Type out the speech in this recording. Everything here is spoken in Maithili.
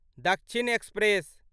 दक्षिण एक्सप्रेस